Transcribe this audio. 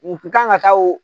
Mu kan ka taa o.